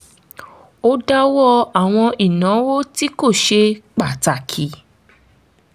ó dáwọ́ àwọn ìnáwó tí kò ṣe pàtàkì